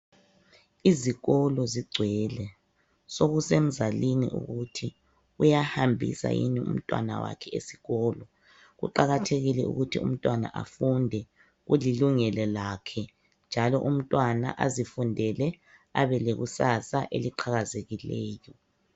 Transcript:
Izikolo zigcwele! Sekusemzalini ukuthi, uyahambisa yini umntwana wakhe esikolo. Kuqakathekile ukuthi umntwana afunde. Kulilungelo lakhe, njalo umntwana afunde. Abelekusasa eliqhakazekileyo.